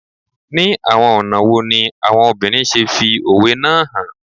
Ni awọn ọna wo ni awọn obinrin ṣe fi owe naa han